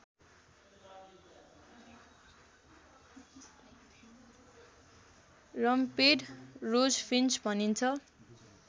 rumped rosefinch भनिन्छ